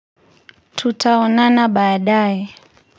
Tutaonana baadae.